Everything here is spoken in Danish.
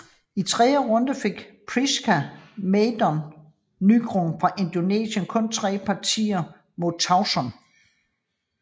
I tredje runde fik Priska Madelyn Nugroho fra Indonesien kun tre partier mod Tauson